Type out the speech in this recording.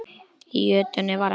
Í jötunni var ekkert vit.